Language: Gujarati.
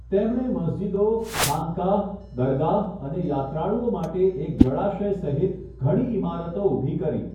તેમણે મસ્જિદો, ખાનકાહ, દરગાહ અને યાત્રાળુઓ માટે એક જળાશય સહિત ઘણી ઇમારતો ઊભી કરી.